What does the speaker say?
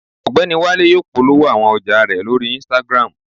Ọgbẹni Wale yóò polowo awọn ọja rẹ lori Instagram